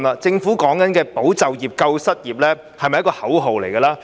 政府說的"保就業、救失業"，是否只是一句口號？